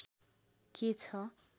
के छ